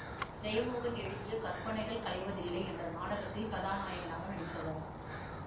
ஜெயமோகன் எழுதிய கற்பனைகள் கலைவதில்லை என்ற நாடகத்தில் கதாநாயகனாக நடித்தவர்